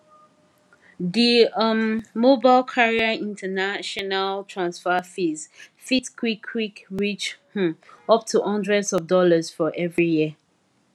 the um mobile carrier international transfer fees fit qik qik reach um up to hundreds of dollars for every year